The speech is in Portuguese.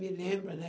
Me lembra, né?